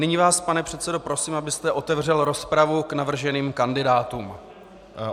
Nyní vás, pane předsedo, prosím, abyste otevřel rozpravu k navrženým kandidátům.